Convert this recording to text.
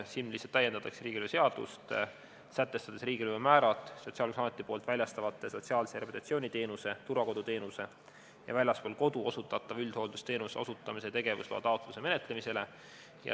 Selles täiendatakse riigilõivuseadust, sätestades riigilõivumäärad Sotsiaalkindlustusameti väljastatavate sotsiaalse rehabilitatsiooni teenuse, turvakoduteenuse ja väljaspool kodu osutatava üldhooldusteenuse osutamise tegevusloa taotluse menetlemisel.